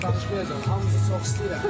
Özüm danışmayacam, hamınızı çox istəyirəm.